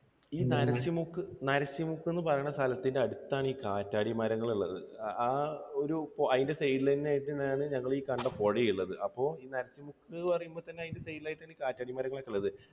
ഈ നരസി നരസിമുക്ക് എന്നുപറയുന്ന സ്ഥലത്തിൻറെ അടുത്താണ് ഈ കാറ്റാടിമരങ്ങൾ ഉള്ളത്. ആ ഒരു അതിൻറെ side ൽ തന്നെ ആയിട്ട് ആണ് ഞങ്ങൾ ഈ കണ്ട പുഴ ഉള്ളത്. അപ്പോൾ ഈ നരസിമുക്ക് എന്നു പറയുമ്പോൾ തന്നെ അതിൻറെ side ൽ ആയിട്ട് ആണ് കാറ്റാടിമരങ്ങൾ ഒക്കെ ഉള്ളത്